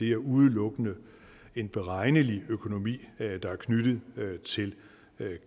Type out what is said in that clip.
er udelukkende en beregnelig økonomi der er knyttet til